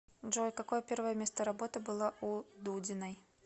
джой какое первое место работы было у дудиной